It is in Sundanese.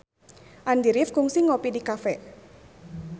Andy rif kungsi ngopi di cafe